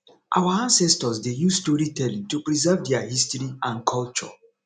our ancestors dey use storytelling to preserve their history and culture